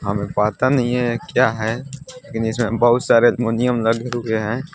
हमें पता नहीं है क्या है? लेकिन इसमें बहुत सारे अमोनियम लगे हुए हैं।